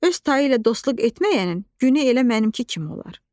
Öz tayı ilə dostluq etməyənin günü elə mənimki kimi olar.